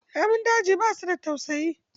Namun daji ba su da tausayi.